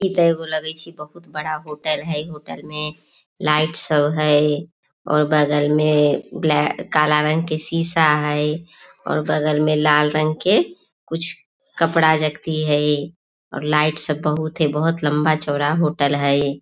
इ ते एगो लगे छै बहुत बड़ा होटल हेय होटल में लाइट सब है और बगल में ब्लैक काला रंग के शीशा हेय और बगल में लाल रंग के कुछ कपड़ा रखती है और लाइट सब बहुत है बहुत लम्बा चौड़ा होटल हेय।